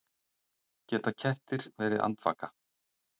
Geta kettir verið andvaka?